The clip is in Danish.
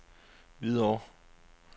Hvidovre